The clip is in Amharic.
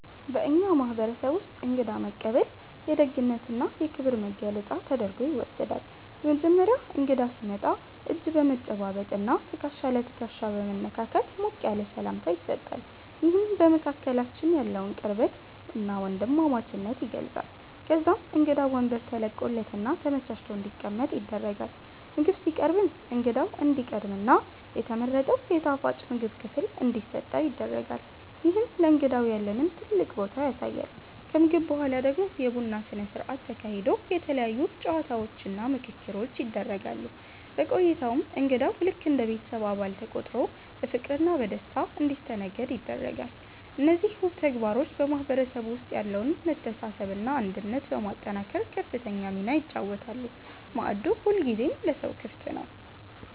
በእኛ ማህበረሰብ ውስጥ እንግዳ መቀበል የደግነትና የክብር መገለጫ ተደርጎ ይወሰዳል። በመጀመሪያ እንግዳ ሲመጣ እጅ በመጨባበጥና ትከሻ ለትከሻ በመነካካት ሞቅ ያለ ሰላምታ ይሰጣል፤ ይህም በመካከላችን ያለውን ቅርበትና ወንድማማችነት ይገልጻል። ከዛም እንግዳው ወንበር ተለቆለትና ተመቻችቶ እንዲቀመጥ ይደረጋል። ምግብ ሲቀርብም እንግዳው እንዲቀድምና የተመረጠው የጣፋጭ ምግብ ክፍል እንዲሰጠው ይደረጋል፤ ይህም ለእንግዳው ያለንን ትልቅ ቦታ ያሳያል። ከምግብ በኋላ ደግሞ የቡና ስነ ስርዓት ተካሂዶ የተለያዩ ጨዋታዎችና ምክክሮች ይደረጋሉ። በቆይታውም እንግዳው ልክ እንደ ቤተሰብ አባል ተቆጥሮ በፍቅርና በደስታ እንዲስተናገድ ይደረጋል። እነዚህ ውብ ተግባሮች በማህበረሰቡ ውስጥ ያለውን መተሳሰብና አንድነት በማጠናከር ከፍተኛ ሚና ይጫወታሉ፤ ማዕዱ ሁልጊዜም ለሰው ክፍት ነው።